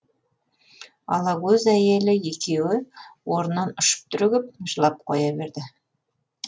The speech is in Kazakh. алакөз әйелі екеуі орнынан ұшып түрегеп жылап қоя берді